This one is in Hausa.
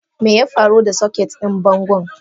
Meyafaru da soket din bangon?